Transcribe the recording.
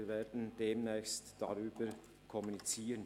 Wir werden demnächst darüber kommunizieren.